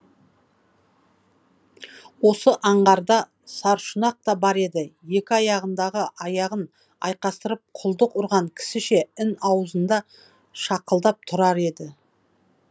осы аңғарда саршұнақ та бар еді екі аяғын айқастырып құлдық ұрған кісіше ін аузында шақылдап тұрар еді